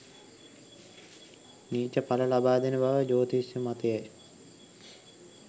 නීච පල ලබාදෙන බව ජ්‍යොතිෂ මතයයි